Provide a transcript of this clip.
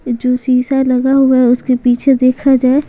जो शीशा लगा हुआ है उसके पीछे देखा जाए --